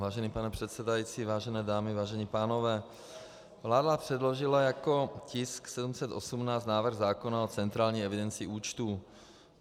Vážený pane předsedající, vážené dámy, vážení pánové, vláda předložila jako tisk 718 návrh zákona o centrální evidenci účtů.